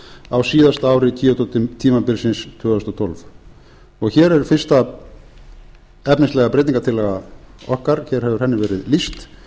á síðasta ári kyoto tímabilsins tvö þúsund hundrað og tvö hér er fyrsta efnislega breytingartillaga okkar hér hefur henni verið lýst